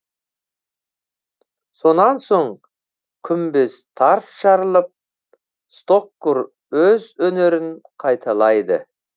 сонан соң күмбез тарс жарылып стоккур өз өнерін қайталайды